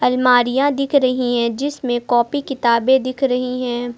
अलमारियां दिख रही हैं जिसमें कॉपी किताबें दिख रही हैं।